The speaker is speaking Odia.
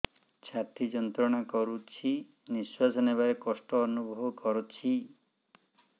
ଛାତି ଯନ୍ତ୍ରଣା କରୁଛି ନିଶ୍ୱାସ ନେବାରେ କଷ୍ଟ ଅନୁଭବ କରୁଛି